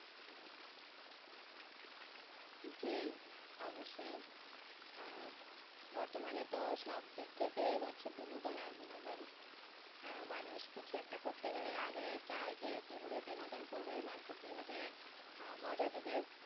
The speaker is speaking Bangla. জি অবশ্যই আহ বর্তমান এ তো সব দিক থেকেই হচ্ছে বিনোদন আর বিনোদন আহ মানুষ কিছু একটা করতে গেলে আগে চাই যে কি ভাবে বিনোদন করবে মানুষ কে কি ভাবে আহ মজা দিবে